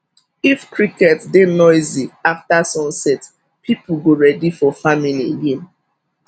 if cricket dey noisy after sunset people go ready for farming again